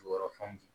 Jukɔrɔ fɛnw di